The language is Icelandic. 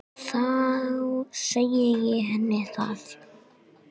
Þá segi ég henni það.